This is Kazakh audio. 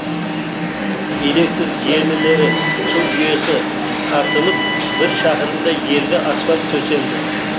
электр желілері су жүйесі тартылып бір шақырымдай жерге асфальт төселді